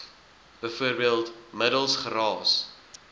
bv middels geraas